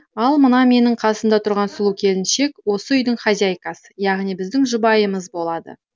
ал мына менің қасымда тұрған сұлу келіншек осы үйдің хозяйкасы яғни біздің жұбайымыз болады